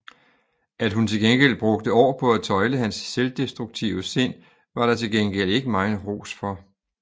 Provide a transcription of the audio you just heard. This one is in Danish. At hun tværtimod brugte år på at tøjle hans selvdestruktive sind var der til gengæld ikke megen ros for